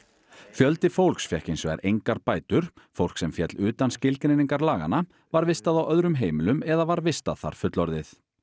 fjöldi fólks fékk hins vegar engar bætur fólk sem féll utan skilgreiningar laganna var vistað á öðrum heimilum eða var vistað þar fullorðið